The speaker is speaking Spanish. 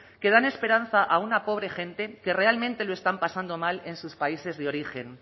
que dan esperanza a una pobre gente que realmente lo están pasando mal en sus países de origen